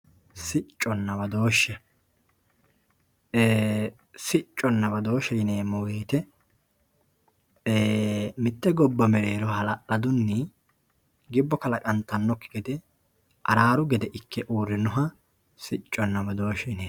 sicconna badooshshe sicconna badooshshe yineemmo wote mitte gobba mereero hala'ladunni gibbo kalaqantannokki gede araaru gede ikke uurrinoha sicconna badooshshe yineemmo.